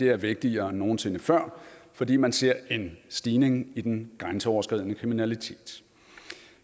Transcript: er vigtigere end nogen sinde før fordi man ser en stigning i den grænseoverskridende kriminalitet